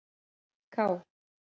K